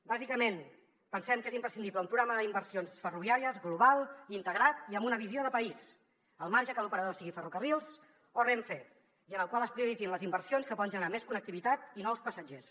bàsicament pensem que és imprescindible un programa d’inversions ferroviàries global integrat i amb una visió de país al marge que l’operador sigui ferrocarrils o renfe i en el qual es prioritzin les inversions que poden generar més connectivitat i nous passatgers